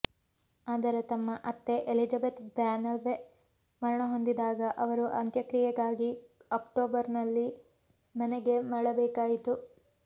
ಆದರೆ ತಮ್ಮ ಅತ್ತೆ ಎಲಿಜಬೆತ್ ಬ್ರ್ಯಾನ್ವೆಲ್ ಮರಣಹೊಂದಿದಾಗ ಅವರು ಅಂತ್ಯಕ್ರಿಯೆಗಾಗಿ ಅಕ್ಟೋಬರ್ನಲ್ಲಿ ಮನೆಗೆ ಮರಳಬೇಕಾಯಿತು